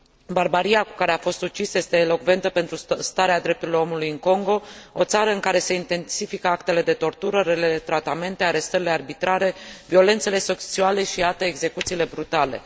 Barbaria cu care a fost ucis este elocventă pentru starea drepturilor omului în Congo, o țară în care se intensifică actele de tortură, relele tratamente, arestările arbitrare, violențele sociale și alte execuții brutale.